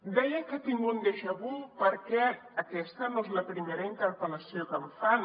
deia que tinc un déjà vu perquè aquesta no és la primera interpellació que em fan